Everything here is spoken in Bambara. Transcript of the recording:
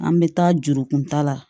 An bɛ taa jurukun ta la